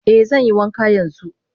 Eh zanyi wanka yanzu.